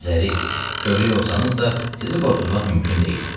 Zərif, kövrək olsanız da, sizi qorxutmaq mümkün deyil.